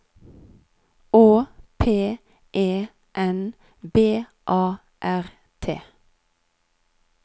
Å P E N B A R T